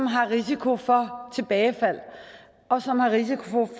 har risiko for tilbagefald og som har risiko for